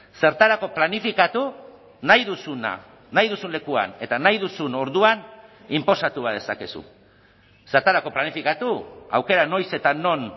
zertarako planifikatu nahi duzuna nahi duzun lekuan eta nahi duzun orduan inposatu badezakezu zertarako planifikatu aukera noiz eta non